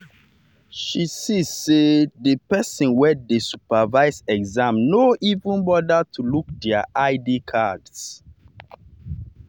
she see say she see say the person wey dey supervise exam no even bother to look their id cards.